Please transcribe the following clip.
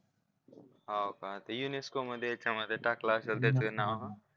होका ते युनिस्को मध्ये त्याच्या मध्ये टाकलं असेल त्याच नाव